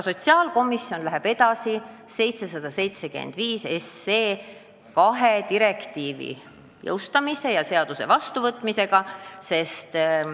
Sotsiaalkomisjon aga läheb edasi eelnõuga 775, et direktiivi kaks artiklit üle võtta ja seadus jõustada.